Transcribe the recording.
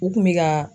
U kun bɛ ka